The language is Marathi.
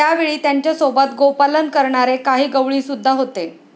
त्यावेळी त्यांच्या सोबत गोपालन करणारे काही गवळीसुद्धा होते.